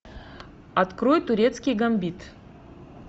открой турецкий гамбит